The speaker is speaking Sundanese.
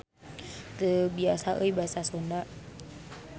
Teu biasa euy Basa Sunda.